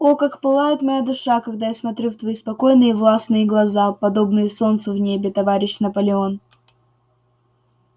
о как пылает моя душа когда я смотрю в твои спокойные и властные глаза подобные солнцу в небе товарищ наполеон